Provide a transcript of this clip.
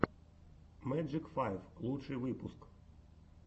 мэджик файв лучший выпуск